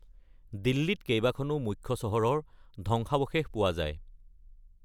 দিল্লীত কেইবাখনো মুখ্য চহৰৰ ধ্বংসাবশেষ পোৱা যায়।